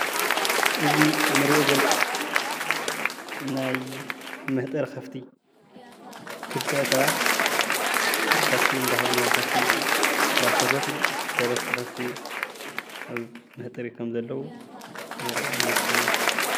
እዙይ እንሪኦ ዘለና ናይ መህጠሪ ከፍቲ ክልተ ሰባት ንከፍቲ እናፈተፈቱ ሰለስተ ከፈቲ አብ መህጠሪ ከም ዘለዉ የምልክተና።